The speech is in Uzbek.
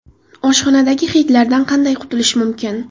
Oshxonadagi hidlardan qanday qutulish mumkin?.